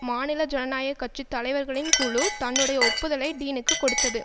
மாநில ஜனநாயக கட்சி தலைவர்களின் குழு தன்னுடைய ஒப்புதலை டீனுக்குக் கொடுத்தது